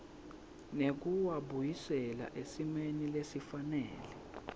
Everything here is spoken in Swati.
nekuwabuyisela esimeni lesifanele